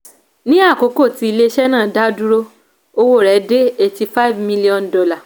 ní àkókò tí ilé-iṣẹ́ náà dá dúró owó rẹ̀ dé eighty five million dollars